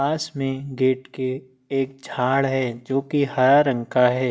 पास में गेट के एक झाड़ है जो की हरा रंग का है।